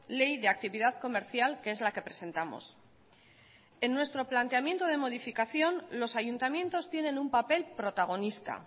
ley de actividad comercial que es la que presentamos en nuestro planteamiento de modificación los ayuntamientos tienen un papel protagonista